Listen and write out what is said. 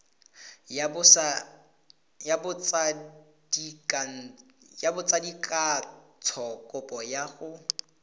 ya botsadikatsho kopo ya go